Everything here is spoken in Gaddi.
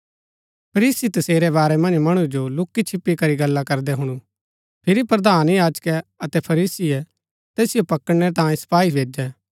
फरीसी तसेरै वारै मन्ज मणु जो लुक्‍कीछिप्‍पी करी गल्ला करदै हुणु फिरी प्रधान याजकै अतै फरीसीये तैसिओ पकड़णै तांयें सपाई भैजै